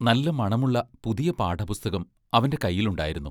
നല്ല മണമുള്ള പുതിയ പാഠപുസ്തകം അവന്റെ കൈയിലുണ്ടായിരുന്നു.